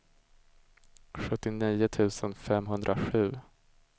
sjuttionio tusen femhundrasju